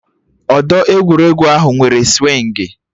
Odo egwuregwu ahụ nwere swịngị